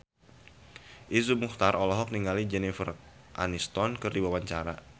Iszur Muchtar olohok ningali Jennifer Aniston keur diwawancara